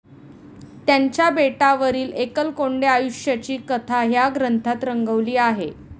त्यांच्या बेटावरील एकलकोंड्या आयुष्याची कथा ह्या ग्रंथात रंगवली आहे.